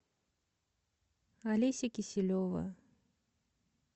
олеся киселева